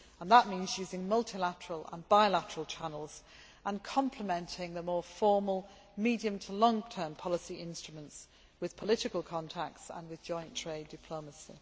That means using multilateral and bilateral channels and complementing the more formal medium to long term policy instruments with political contacts and with joint trade diplomacy.